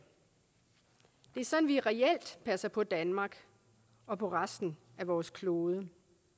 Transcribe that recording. det er sådan vi reelt passer på danmark og på resten af vores klode